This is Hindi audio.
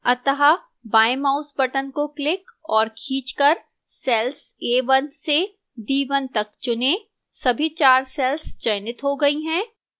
अतः बाएं mouse button को क्लिक औऱ खींचकर cells a1 से a1 तक चुनें सभी 4 cells चयनित हो गई हैं